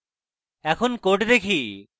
এখন code দেখি